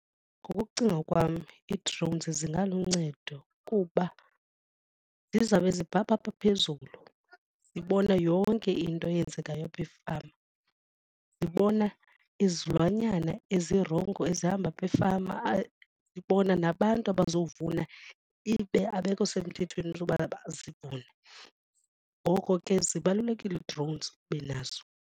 Ngokokucinga kwam ii-drones zingaluncedo kuba zizawube zibhabha apha phezulu zibona yonke into eyenzekayo apha efama, zibona izizilwanyana ezirongo ezihamba apha efama zibona nabantu abazovuna ibe abekho semthethweni zoba bazivune. Ngoko ke zibalulekile i-drones ube nazo.